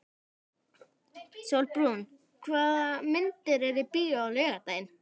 Sólbrún, hvaða myndir eru í bíó á laugardaginn?